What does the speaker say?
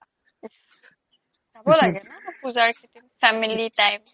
যাব লাগে না পূজাৰ কেইদিন family time